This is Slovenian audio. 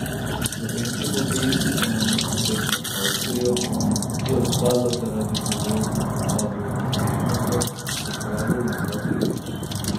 Slovenski hokejisti so namesto tekme z Avstrijo, ki je odpadla zaradi bolezni v taboru tekmecev, opravili dva treninga.